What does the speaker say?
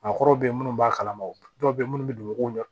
Maakɔrɔw be yen munnu b'a kalama dɔw be ye munnu be dugukolo